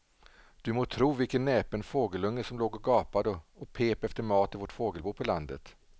Du må tro vilken näpen fågelunge som låg och gapade och pep efter mat i vårt fågelbo på landet.